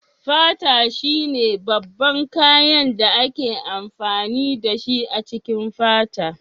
Fata shine babban kayan da ake amfani dashi a cikin fata.